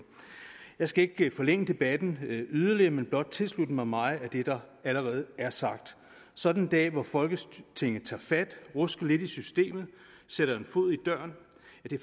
jeg skal ikke forlænge debatten yderligere men blot tilslutte mig meget af det der allerede er sagt sådan en dag hvor folketinget tager fat rusker lidt i systemet og sætter en fod i døren